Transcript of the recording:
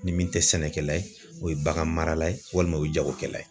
Ni min tɛ sɛnɛkɛla ye o ye bagan marala ye walima o ye jagokɛla ye.